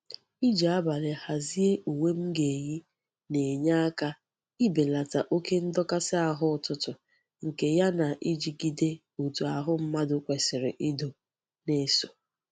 Iji abali hazie uwe m ga-eyi na-enye aka ibelata oke ndokasi ahu ututu nke ya na ijigide otu ahu mmadu kwesiri ido na-eso.